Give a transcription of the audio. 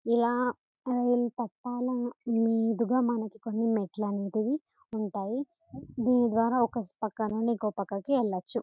ఎల్లా rail పట్టాల మీదుగా మనకి కొన్ని మెట్లలాంటివి ఉంటాయి దీన్ని ద్వారా ఒక్క పక్కనుంచి ఇంకొక్క పక్కకి వెళ్ళవచ్చు.